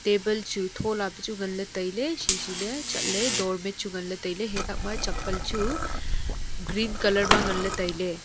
table chu tholapa chu nganla tailey sisi ley chatley doormate chu nganla tailey hai thakma chappal chu green colour ma nganla tailey.